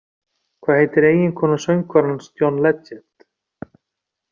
Hvað heitir eiginkona söngvarans John Legend?